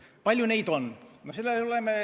Kui palju neid on?